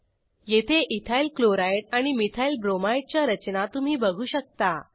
येथे इथायलक्लोराइड आणि मिथाइलब्रोमाइड च्या रचना तुम्ही बघू शकता